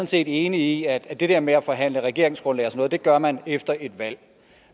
set enig i at det der med at forhandle regeringsgrundlag og sådan noget gør man efter et valg